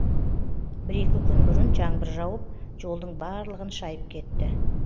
бір екі күн бұрын жаңбыр жауып жолдың барлығын шайып кетті